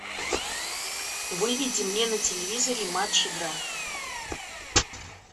выведи мне на телевизоре матч игра